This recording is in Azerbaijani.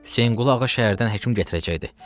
Hüseynqulu Ağam şəhərdən həkim gətirəcəkdi.